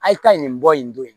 A' ye taa nin bɔ in don in